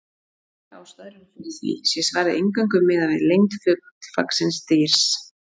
Tvær ástæður eru fyrir því, sé svarið eingöngu miðað við lengd fullvaxins dýrs.